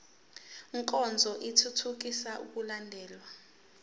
nkonzo ithuthukisa ukulandelwa